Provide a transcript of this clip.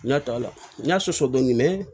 N y'a ta la sɔsɔ dɔɔni